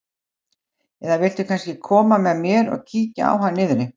Eða viltu kannski koma með mér og kíkja á hann niðri?